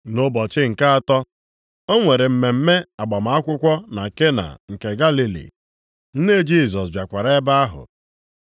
Nʼụbọchị nke atọ, o nwere mmemme agbamakwụkwọ na Kena nke Galili, nne Jisọs bịakwara ebe ahụ.